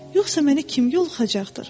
Yoxsa məni kim yoluxacaqdır?